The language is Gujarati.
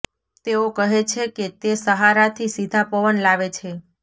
તેઓ કહે છે કે તે સહારા થી સીધા પવન લાવે છે